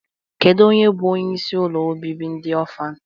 Kedu onye bụ onyeisi ụlọ obibi ndị ọfan?